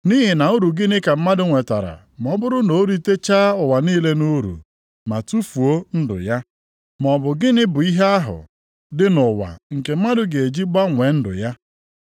Nʼihi na uru gịnị ka mmadụ nwetara ma ọ bụrụ na o ritechaa ụwa niile nʼuru ma tufuo ndụ ya? Maọbụ gịnị bụ ihe ahụ dị nʼụwa nke mmadụ ga-eji gbanwee ndụ ya?